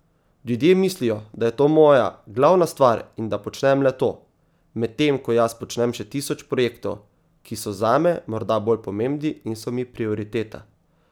Ljudje mislijo, da je to moja glavna stvar in da počnem le to, medtem ko jaz počnem še tisoč projektov, ki so zame morda bolj pomembni in so mi prioriteta.